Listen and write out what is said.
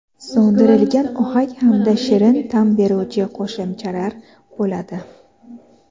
so‘ndirilgan ohak hamda shirin ta’m beruvchi qo‘shimchalar bo‘ladi.